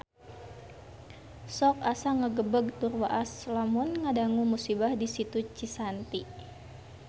Sok asa ngagebeg tur waas lamun ngadangu musibah di Situ Cisanti